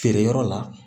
Feere yɔrɔ la